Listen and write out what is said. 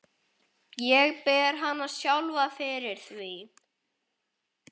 Ég ber hana sjálfa fyrir því.